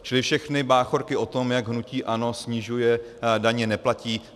Čili všechny báchorky o tom, jak hnutí ANO snižuje daně, neplatí.